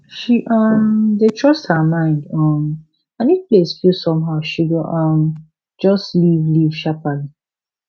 she um dey trust her mind um and if place feel somehow she go um just leave leave sharply